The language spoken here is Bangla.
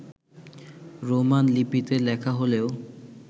রোমান লিপিতে লেখা হলেও